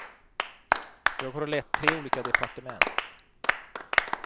Jag har lett tre olika departement.